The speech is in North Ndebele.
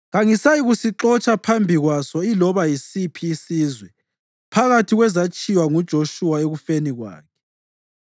kangisayikuxotsha phambi kwaso iloba yisiphi isizwe phakathi kwezatshiywa nguJoshuwa ekufeni kwakhe.